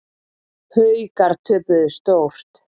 Haukar töpuðu stórt